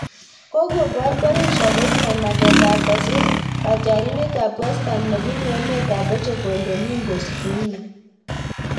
kagobaar Borussia Dortmund mageet ab kosir katyarindet ab westham nebunu emet ab portugal Domingos Quina